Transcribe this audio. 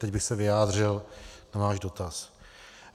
Teď bych se vyjádřil na váš dotaz.